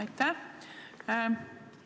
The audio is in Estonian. Aitäh!